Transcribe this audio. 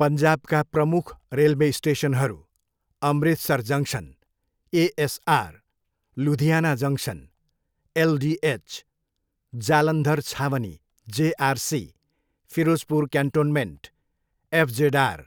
पन्जाबका प्रमुख रेलवे स्टेसनहरू Amritsar junction, ASR, Ludhiana junction, LDH, Jalandhar छावनी, जेआरसी, फिरोजपुर क्यान्टोनमेन्ट, एफजेडआर,